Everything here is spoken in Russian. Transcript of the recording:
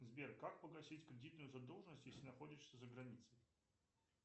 сбер как погасить кредитную задолженность если находишься за границей